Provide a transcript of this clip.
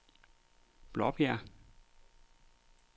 Blåbjerg